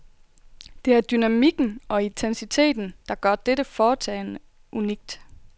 Det er dynamikken og intensiteten, der gør dette foretagende unikt.